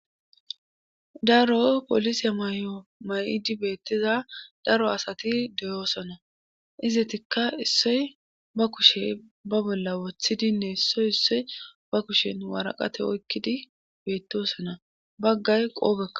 daro polisiya mayo mayidi beettiza daro asati deyoosona izetikka issoy ba kushe ba bolla wothidinne issoy issoy ba kushen waraqate oykkidi beettosona baggay qoobekka